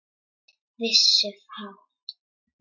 Vissu fátt.